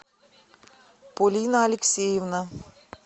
полина алексеевна